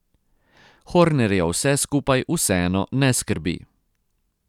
Hornerja vse skupaj vseeno ne skrbi.